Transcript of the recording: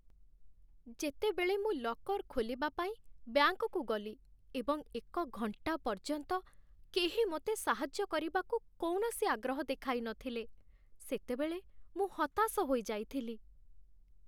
ଯେତେବେଳେ ମୁଁ ଲକର୍ ଖୋଲିବା ପାଇଁ ବ୍ୟାଙ୍କକୁ ଗଲି ଏବଂ ଏକ ଘଣ୍ଟା ପର୍ଯ୍ୟନ୍ତ କେହି ମୋତେ ସାହାଯ୍ୟ କରିବାକୁ କୌଣସି ଆଗ୍ରହ ଦେଖାଇନଥିଲେ, ସେତେବେଳେ ମୁଁ ହତାଶ ହୋଇଯାଇଥିଲି।